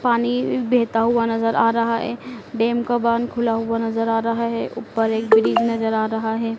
पानी बहता हुआ नजर आ रहा है डैम का बांध खुला हुआ नजर आ रहा है ऊपर एक ब्रिज नजर आ रहा है।